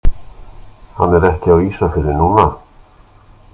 Hann er ekki á Ísafirði núna.